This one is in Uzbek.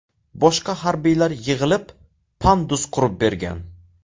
Boshqa harbiylar yig‘ilib, pandus qurib bergan.